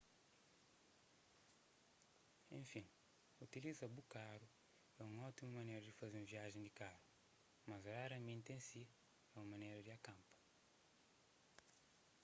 enfin utiliza bu karu é un ótimu manera di faze un viajen di karu mas raramenti en si é un manera di akanpa